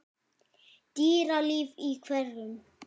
Dýralíf í hverum